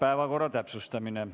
Päevakorra täpsustamine.